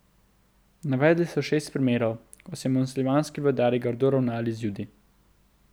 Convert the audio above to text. Navedli so šest primerov, ko so muslimanski vladarji grdo ravnali z Judi.